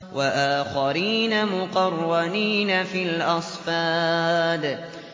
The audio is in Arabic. وَآخَرِينَ مُقَرَّنِينَ فِي الْأَصْفَادِ